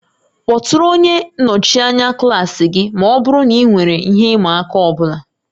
Kpọtụrụ onye nnọchi anya klaasị gị ma ọ bụrụ na ị nwere ihe ịma aka ọ bụla